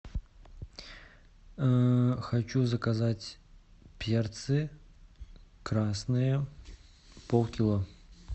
хочу заказать перцы красные полкило